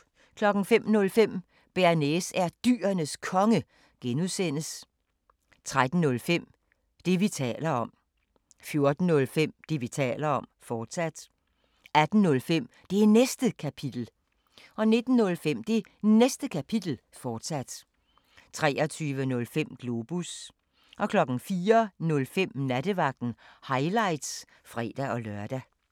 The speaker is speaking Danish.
05:05: Bearnaise er Dyrenes Konge (G) 13:05: Det, vi taler om 14:05: Det, vi taler om, fortsat 18:05: Det Næste Kapitel 19:05: Det Næste Kapitel, fortsat 23:05: Globus 04:05: Nattevagten – highlights (fre-lør)